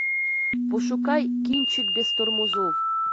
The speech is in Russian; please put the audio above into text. пошукай кинчик без тормозов